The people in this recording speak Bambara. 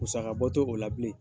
Musaka bɔto o la bilen